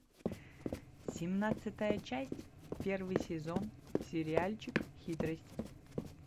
семнадцатая часть первый сезон сериальчик хитрость